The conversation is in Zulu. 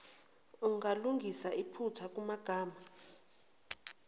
ungalungisa iphutha kumagama